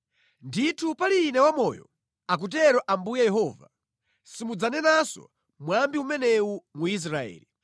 “Ndithu pali Ine wamoyo, akutero Ambuye Yehova, simudzanenanso mwambi umenewu mu Israeli.